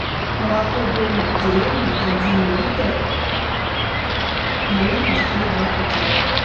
молоко домик в деревне один литр жирность три и два процента